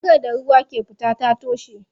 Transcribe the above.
Ragar da ruwa ke fita ta toshe.